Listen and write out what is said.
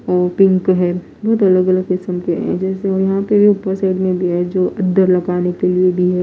ओ pink है बहुत अलग अलग किस्म के हैं जैसे यहां पे सेट में भी है जो अंदर लगाने के लिए भी है।